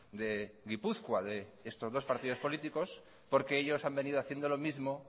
de gipuzkoa de estos dos partidos políticos porque ellos han venido haciendo lo mismo